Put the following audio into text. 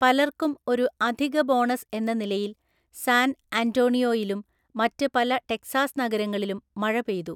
പലർക്കും ഒരു അധിക ബോണസ് എന്ന നിലയിൽ, സാൻ അന്റോണിയോയിലും മറ്റ് പല ടെക്സാസ് നഗരങ്ങളിലും മഴ പെയ്തു.